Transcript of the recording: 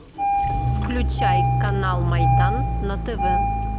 включай канал майдан на тв